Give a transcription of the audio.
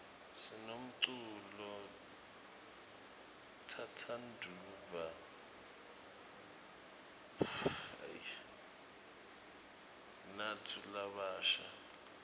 sinemculo tsatsanduwa bnatfu labasha